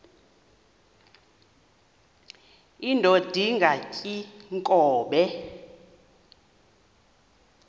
indod ingaty iinkobe